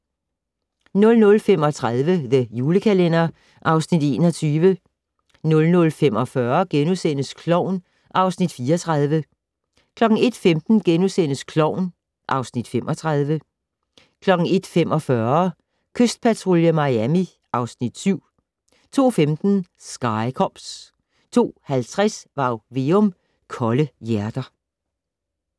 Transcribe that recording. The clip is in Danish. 00:35: The Julekalender (Afs. 21) 00:45: Klovn (Afs. 34)* 01:15: Klovn (Afs. 35)* 01:45: Kystpatrulje Miami (Afs. 7) 02:15: Sky Cops 02:50: Varg Veum - Kolde hjerter